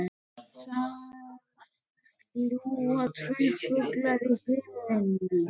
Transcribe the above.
Það fljúga tveir fuglar í himninum.